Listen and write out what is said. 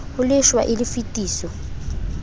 ho lefshwa e le tefiso